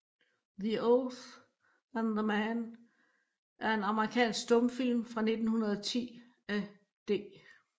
The Oath and the Man er en amerikansk stumfilm fra 1910 af D